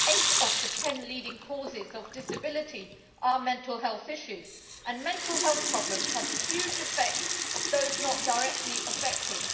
Eight of the ten leading causes of disability are mental health issues, and mental health problems have a huge effect on those not directly affected.